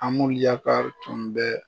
An Amulu Yakari tun bɛɛ